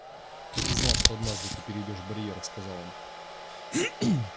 так и знал что однажды ты перейдёшь барьер сказал он